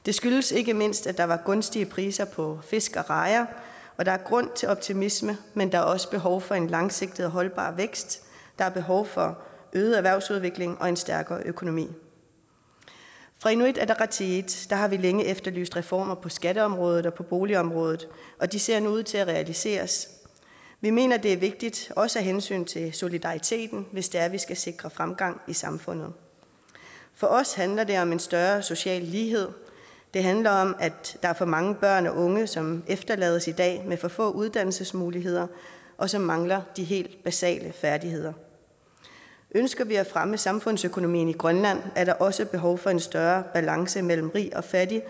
det skyldes ikke mindst at der var gunstige priser på fisk og rejer der er grund til optimisme men der er også behov for en langsigtet og holdbar vækst der er behov for øget erhvervsudvikling og en stærkere økonomi fra inuit ataqatigiits side har vi længe efterlyst reformer på skatteområdet og på boligområdet og de ser nu ud til at realiseres vi mener at det er vigtigt også af hensyn til solidariteten hvis det er vi skal sikre fremgang i samfundet for os handler det om en større social lighed det handler om at der er for mange børn og unge som efterlades i dag med for få uddannelsesmuligheder og som mangler de helt basale færdigheder ønsker vi at fremme samfundsøkonomien i grønland er der også behov for en større balance mellem rig og fattig